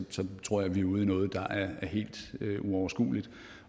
tror jeg vi er ude i noget der er helt uoverskueligt